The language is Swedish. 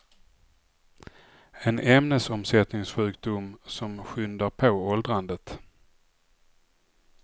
En ämnesomsättningssjukdom som skyndar på åldrandet.